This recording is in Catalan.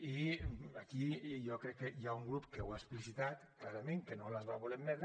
i aquí jo crec que hi ha un grup que ho ha explicitat clarament que no les va voler admetre